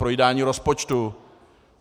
Projídání rozpočtu?